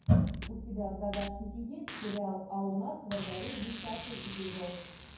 у тебя в загашнике есть сериал а у нас во дворе десятый эпизод